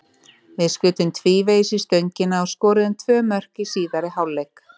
Við skutum tvívegis í stöngina og skoruðum tvö mörk í síðari hálfleik.